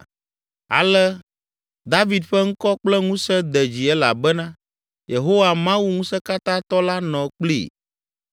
Ale David ƒe ŋkɔ kple ŋusẽ de dzi elabena Yehowa, Mawu ŋusẽkatãtɔ la nɔ kplii.